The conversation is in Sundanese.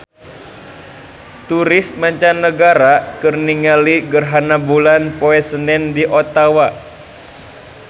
Turis mancanagara keur ningali gerhana bulan poe Senen di Ottawa